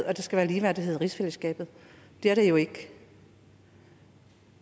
at der skal være ligeværdighed i rigsfællesskabet det er der jo ikke